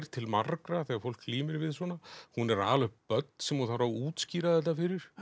til margra þegar fólk glímir við svona hún er að ala upp börn sem hún þarf að útskýra þetta fyrir